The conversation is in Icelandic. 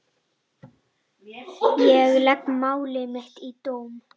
Ég legg mál mitt í dóm.